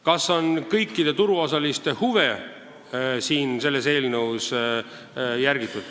Kas on järgitud kõikide turuosaliste huve?